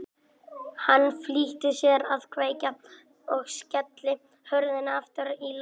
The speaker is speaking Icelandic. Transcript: Hann flýtti sér að kveikja og skella hurðinni aftur í lás.